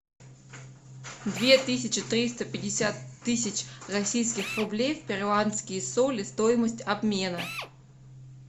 две тысячи триста пятьдесят тысяч российских рублей в перуанские соли стоимость обмена